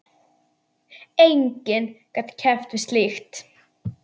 Enginn gat keppt við slíkt.